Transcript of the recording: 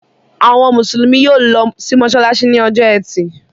Àwọn Mùsùlùmí yóò lọ sí mọ́ṣáláṣí ní ọjọ́ ẹtì.